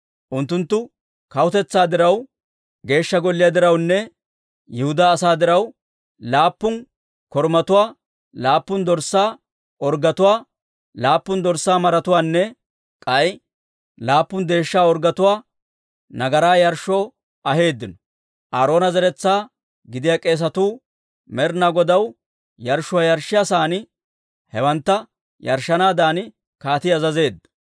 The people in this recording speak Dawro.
Unttunttu kawutetsaa diraw, Geeshsha Golliyaa dirawunne Yihudaa asaa diraw, laappun korumatuwaa, laappun dorssaa orggetuwaa, laappun dorssaa maratuwaanne k'ay laappun deeshsha orggetuwaa nagaraa yarshshoo aheeddino. Aaroona zeretsaa gidiyaa k'eesatuu, Med'inaa Godaw yarshshuwaa yarshshiyaa sa'aan hewantta yarshshanaadan kaatii azazeedda.